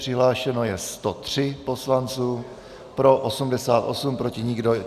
Přihlášeno je 103 poslanců, pro 88, proti nikdo.